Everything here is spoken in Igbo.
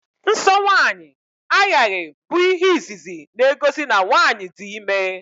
Nsọ nwaanyị aghaghị bụ ihe izizi na-egosi na nwaanyi dị ime